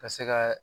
Ka se ka